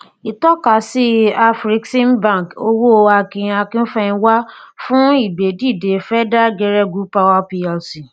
ìtọkasí afreximbank owó akin akin akínfẹmiwá fún ìgbé dìde feda geregu power plc